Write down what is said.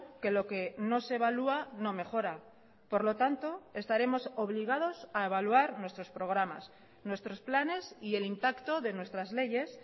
que lo que no se evalúa no mejora por lo tanto estaremos obligados a evaluar nuestros programas nuestros planes y el impacto de nuestras leyes